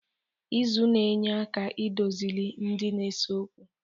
Izu na-enye aka idozili ndị na-ese okwu.